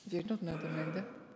вернуть надо наверно да